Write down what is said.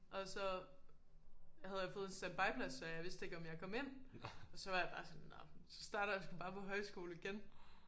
Og så havde jeg fået en standby plads så jeg vidste ikke om jeg kom ind og så var jeg bare sådan nåh men så starter jeg sgu bare på højskole igen